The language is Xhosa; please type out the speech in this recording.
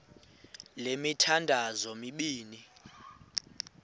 le mithandazo mibini